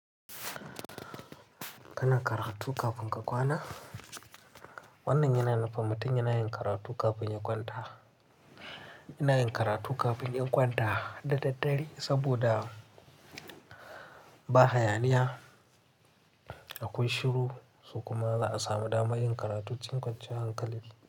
Kana karatu kafin ka kwana? Wannan yana nufin mutum yana yin karatu kafin ya kwanta. Yana yin karatu kafin ya kwanta da daddare saboda ba hayaniya, akwai shiru, so kuma za'a su samu dama yin karatun cikkace hankali.